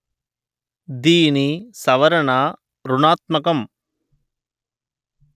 దీని సవరణ ఋణాత్మకం